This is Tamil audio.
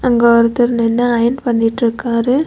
அங்க ஒருத்தர் நின்னு அயன் பண்ணிட்ருக்காரு.